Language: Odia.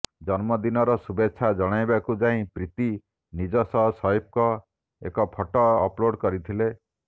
ଜନ୍ମଦିନର ଶୁଭେଚ୍ଛା ଜଣାଇବାକୁ ଯାଇ ପ୍ରୀତି ନିଜ ସହ ସୈଫ୍ଙ୍କ ଏକ ଫଟୋ ଅପ୍ଲୋଡ଼ କରିଥିଲେ